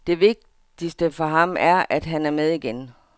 Det vigtigste for ham, er, at han er med igen.